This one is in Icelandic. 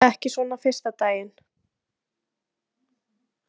Ekki svona fyrsta daginn.